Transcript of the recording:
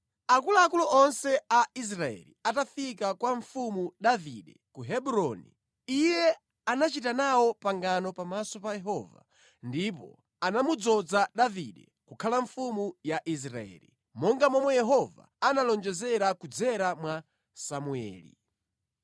Akuluakulu onse a Israeli atafika kwa Mfumu Davide ku Hebroni, iye anachita nawo pangano pamaso pa Yehova, ndipo anamudzoza Davide kukhala mfumu ya Israeli, monga momwe Yehova analonjezera kudzera mwa Samueli.